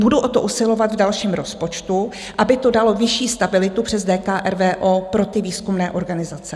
Budu o to usilovat v dalším rozpočtu, aby to dalo vyšší stabilitu přes DKRVO pro výzkumné organizace.